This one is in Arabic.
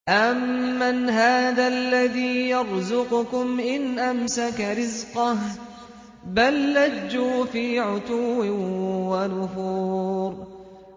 أَمَّنْ هَٰذَا الَّذِي يَرْزُقُكُمْ إِنْ أَمْسَكَ رِزْقَهُ ۚ بَل لَّجُّوا فِي عُتُوٍّ وَنُفُورٍ